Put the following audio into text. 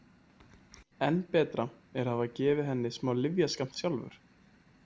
Enn betra er að hafa gefið henni smá lyfjaskammt sjálfur.